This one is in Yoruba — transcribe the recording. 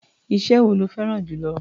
Iṣẹ́ wo lo fẹ́rá̀n jù lọ?